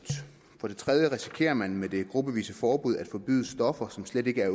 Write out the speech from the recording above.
for det tredje risikerer man med det gruppevise forbud at forbyde stoffer som slet ikke er